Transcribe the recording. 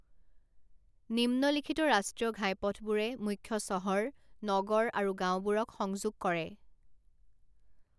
নিম্নলিখিত ৰাষ্ট্ৰীয় ঘাইপথবোৰে মুখ্য চহৰ, নগৰ আৰু গাওঁবোৰক সংযোগ কৰে।